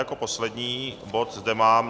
Jako poslední bod zde mám